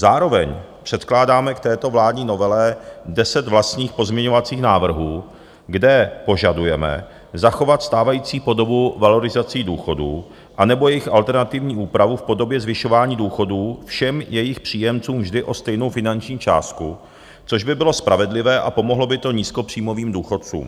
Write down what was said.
Zároveň předkládáme k této vládní novele deset vlastních pozměňovacích návrhů, kde požadujeme zachovat stávající podobu valorizací důchodů anebo jejich alternativní úpravu v podobě zvyšování důchodů všem jejich příjemcům vždy o stejnou finanční částku, což by bylo spravedlivé a pomohlo by to nízkopříjmovým důchodcům.